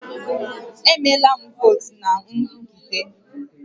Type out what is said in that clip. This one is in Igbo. Emela votu na nrụgide